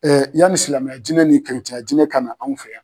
yani silamɛya diinɛ ni ya diinɛ kana anw fɛ yan